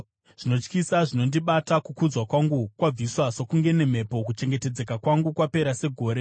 Zvinotyisa zvinondibata; kukudzwa kwangu kwabviswa sokunge nemhepo, kuchengetedzeka kwangu kwapera segore.